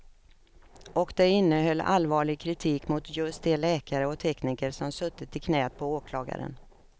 Och det innehöll allvarlig kritik mot just de läkare och tekniker som suttit i knät på åklagaren.